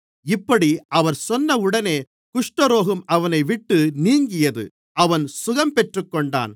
இப்படி அவர் சொன்னவுடனே குஷ்டரோகம் அவனைவிட்டு நீங்கியது அவன் சுகம் பெற்றுக்கொண்டான்